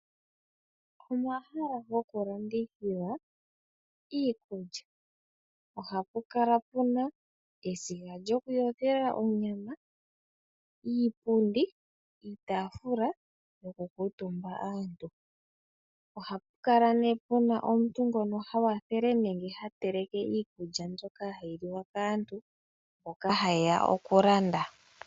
Omahala gokulandithila iikulya, ohapu kala puna esiga lyokuyothela onyama, iipundi, iitaafula yokukuutumba aantu. Ohapu kala nee puna omuntu ngono ha wathele nenge ha teleke iikulya mbyoka hayi liwa kaantu mboka haye ya okulanda.